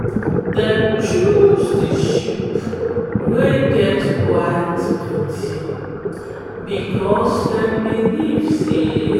dem choose the sheep wey get white body because them believe say